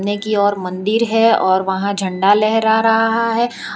ने की ओर मंदिर है और वहां झंडा लहरा रहा है।